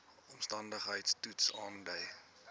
omstandigheids toets aandui